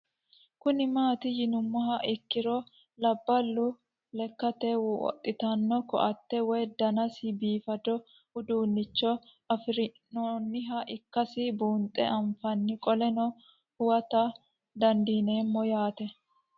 Kuni mati yinumoha ikiro labalu lekate woxitano koate woyi danasi bifado udunicho afirina'nniha ikasi bunxe afanna qoleno huwata dandinemo yaate